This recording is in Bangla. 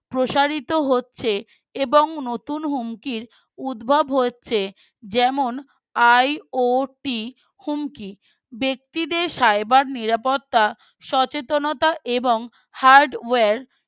প্রসারিত হচ্ছে এবং নতুন হুমকির উদ্ভব হচ্ছে যেমন IOT হুমকি ব্যক্তিদের cyber নিরাপত্তা সচেতনতা এবং Hardware